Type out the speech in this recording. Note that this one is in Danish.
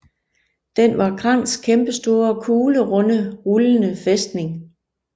Den var Krangs kæmpestore kuglerunde rullende fæstning